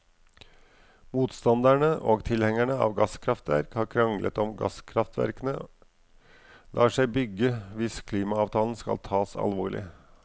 Motstandere og tilhengere av gasskraftverk har kranglet om gasskraftverkene lar seg bygge hvis klimaavtalen skal tas alvorlig.